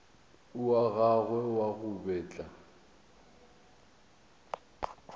wa gagwe wa go betla